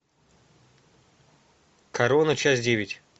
корона часть девять